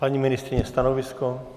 Paní ministryně, stanovisko?